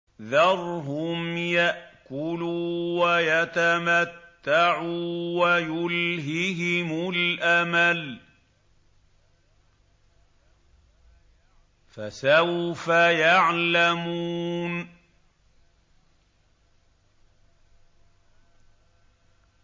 ذَرْهُمْ يَأْكُلُوا وَيَتَمَتَّعُوا وَيُلْهِهِمُ الْأَمَلُ ۖ فَسَوْفَ يَعْلَمُونَ